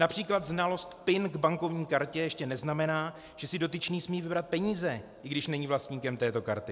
Například znalost PIN k bankovní kartě ještě neznamená, že si dotyčný smí vybrat peníze, i když není vlastníkem této karty.